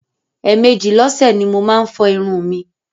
Ẹ̀mejì lọ́sẹ̀ ni mo máa ń fọ irun mi.